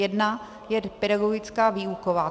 Jedna je pedagogická, výuková.